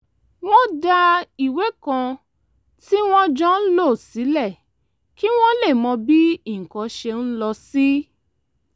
wọ́n dá ìwé kan tí wọ́n jọ ń lò sílẹ̀ kí wọ́n lè mọ bí nǹkan ṣe ń lọ sí